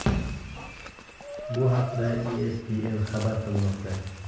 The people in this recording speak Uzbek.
Bu haqda ESPN xabar qilmoqda .